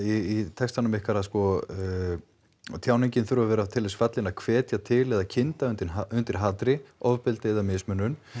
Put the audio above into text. textanum ykkar að sko að tjáningin þurfi að vera til þess fallin að hvetja til eða kynda undir undir hatri ofbeldi eða mismunun